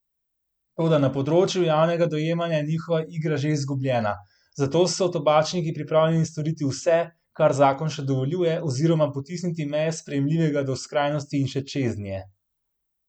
Toda na področju javnega dojemanja je njihova igra že izgubljena, zato so tobačniki pripravljeni storiti vse, kar zakon še dovoljuje, oziroma potisniti meje sprejemljivega do skrajnosti in še čeznje.